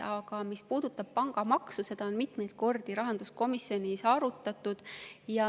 Aga mis puudutab pangamaksu, siis seda on mitmeid kordi rahanduskomisjonis arutatud.